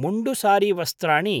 मुण्डु सारीवस्त्राणि